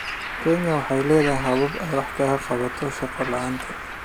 Kenya waxay leedahay habab ay wax kaga qabato shaqo la'aanta.